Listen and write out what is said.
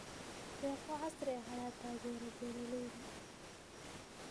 Deeqo casri ah ayaa taageera beeralayda.